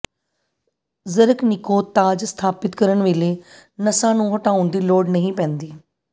ਜ਼ਰਕਨਿਕੋ ਤਾਜ ਸਥਾਪਿਤ ਕਰਨ ਵੇਲੇ ਨਸਾਂ ਨੂੰ ਹਟਾਉਣ ਦੀ ਲੋੜ ਨਹੀਂ ਪੈਂਦੀ